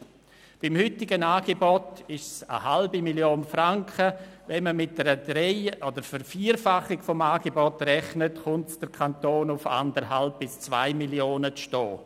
Beim Stand des heutigen Angebots handelt es sich um rund 0,5 Mio. Franken bei einer Verdreifachung oder einer Vervierfachung des Angebots um 1,5 bis 2 Mio. Franken.